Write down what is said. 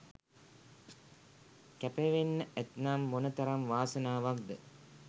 කැපවෙන්න ඇත්නම් මොන තරම් වාසනාවක්ද.